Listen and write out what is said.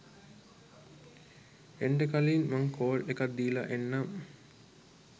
එන්ඩ කලින් මං කෝල් එකක් දීලා එන්නම්